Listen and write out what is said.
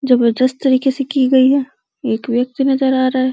जबरदस्त तरीके से की गयी है एक व्यक्ति नजर आ रहा है।